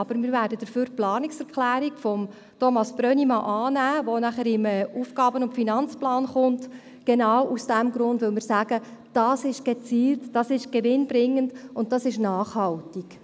Aber wir werden dafür die Planungserklärung von Thomas Brönnimann annehmen, die nachher im AFP folgt, genau aus diesem Grund, weil wir sagen: Das ist gezielt, das ist gewinnbringend, und das ist nachhaltig.